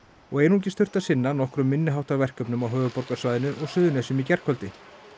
og einungis þurfti að sinna nokkrum minni háttar verkefnum á höfuðborgarsvæðinu og Suðurnesjum í gærkvöldi